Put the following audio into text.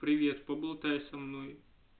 привет поболтай со мной